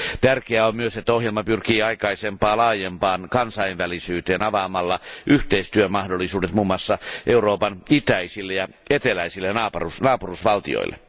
Tärkeää on myös, että ohjelma pyrkii aikaisempaa laajempaan kansainvälisyyteen avaamalla yhteistyömahdollisuudet muun muassa Euroopan itäisille ja eteläisille naapurusvaltioille.